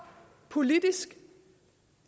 politisk